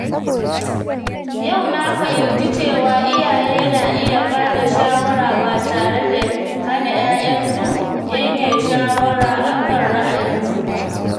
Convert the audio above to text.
Yau na fahimci cewa iyaye na iya ba da shawara ba tare da hana ‘ya’yansu yanke shawara akan ra'ayin su ba.